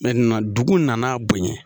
dugu nana bonya